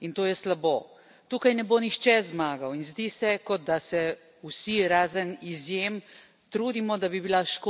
Tukaj ne bo nihče zmagal in zdi se, kot da se vsi, razen izjem, trudimo, da bi bila škoda čim manjša.